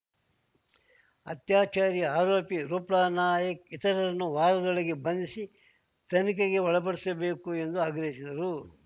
ಅತ್ಯಾಚಾರಿ ಆರೋಪಿ ರೂಪ್ಲನಾಯಕ್ ಇತರರನ್ನು ವಾರದೊಳಗೆ ಬಂಧಿಸಿ ತನಿಖೆಗೆ ಒಳಪಡಿಸಬೇಕು ಎಂದು ಆಗ್ರಹಿಸಿದರು